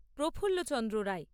প্রফুল্ল Chandra রায়